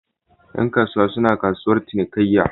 Yan kasuwa suna kasuwar cinikayya